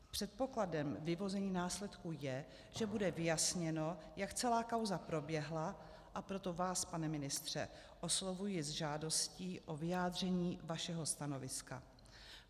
Předpokladem vyvození následků je, že bude vyjasněno, jak celá kauza proběhla, a proto vás, pane ministře, oslovuji s žádostí o vyjádření vašeho stanoviska.